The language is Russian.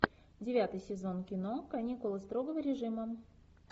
девятый сезон кино каникулы строгого режима